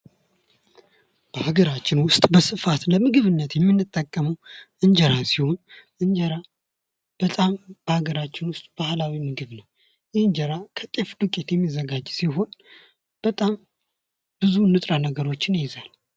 በሀገራችን ውስጥ በስፋት ለምግብነት የምንጠቀመው እንጀራ ሲሆን እንጀራ በጣም በአገራችን ውስጥ ባህላዊ ምግብ ነው። እንጀራ ከጤፍ ዱቄት የሚዘጋጅ ሲሆን በጣም ብዙ ንጥረነገሮችን ይይዛል።